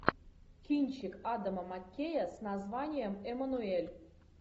кинчик адама маккея с названием эммануэль